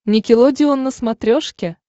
никелодеон на смотрешке